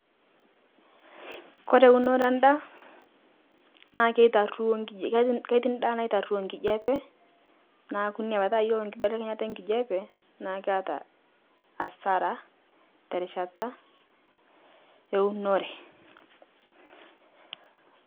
Kore unore endaa, naa keitaruo nkije keti ketii ndaa naitaruo nkijepe, naaku inia petaa yuolo kibelekenyetaa enkijape naa keata asara terishata eunore.